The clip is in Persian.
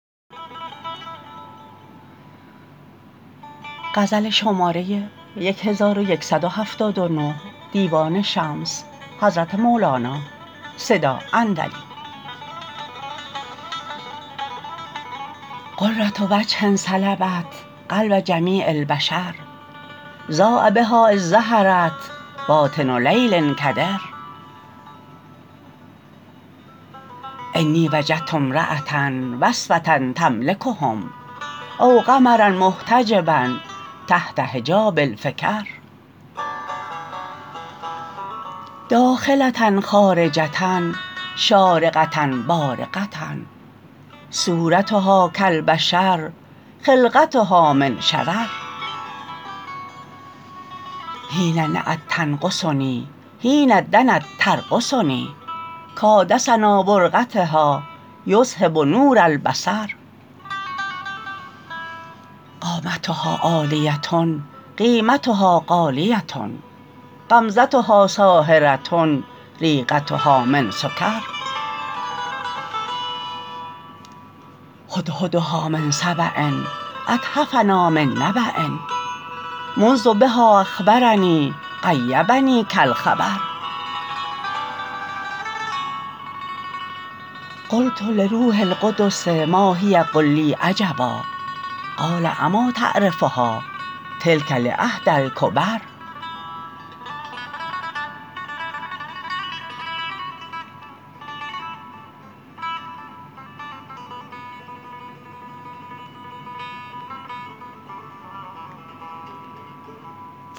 غره وجه سلبت قلب جمیع البشر ضاء بها اذ ظهرت باطن لیل کدر انی وجدت امراه اوصفه تملکهم او قمراء محتجباء تحت حجاب الفکر داخله خارجه شارقه بارقه صورتها کالبشر خلقتها من شرر حین نأت تنقصنی حین دنت ترقصنی کادسنا برقتها یذهب نور البصر قامتها عالیه قیمتها غالیه غمزتها ساحره ریقتها من سکر هدهدها من سباء اتحفنا من نب مندیها اخبرنی غیبنی کالخبر قلت لروح القدس ما هی قل لی عجبا قال اما تعرفها تلک لا حدی الکبر